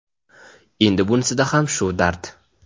endi bunisida ham shu dard.